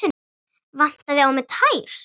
Vantaði á mig tær?